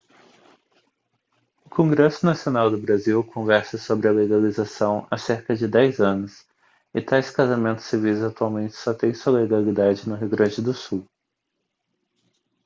o congresso nacional do brasil conversa sobre a legalização há cerca de 10 anos e tais casamentos civis atualmente só têm sua legalidade no rio grande do sul